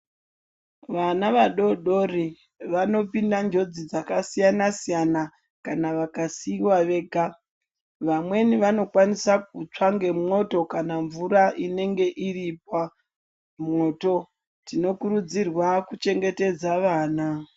Vana vadodori vano pinda njodzi dzaka siyana siyana kana vaka siwa vega vamweni vanokwanisa kutsva ne moto kana mvura inenge irimwo mu moto tino kurudzirwa kuchengetedza vana.